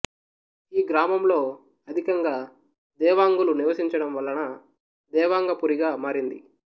ఈ గ్రామంలో అధికంగ దెవాంగులు నివసించడంవలన దేవాంగ పురిగా మారింది